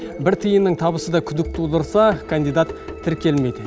бір тиынның табысы да күдік тудырса кандидат тіркелмейді